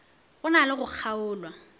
go na le go kgaolwa